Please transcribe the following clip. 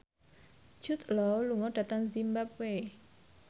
Jude Law lunga dhateng zimbabwe